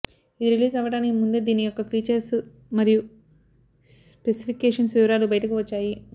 ఇది రిలీజ్ అవ్వడానికి ముందే దీని యొక్క ఫీచర్స్ మరియు స్పెసిఫికేషన్స్ వివరాలు బయటకు వచ్చాయి